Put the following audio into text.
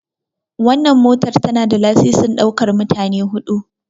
Wannan motar tana da lasisin ɗaukar mutane 4.